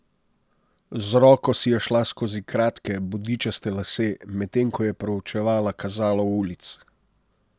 Z roko si je šla skozi kratke, bodičaste lase, medtem ko je proučevala kazalo ulic.